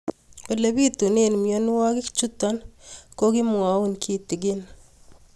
Ole pitune mionwek chutok ko kimwau kitig'ín